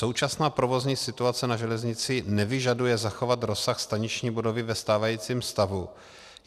Současná provozní situace na železnici nevyžaduje zachovat rozsah staniční budovy ve stávajícím stavu.